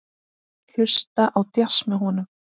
Hlusta á djass með honum.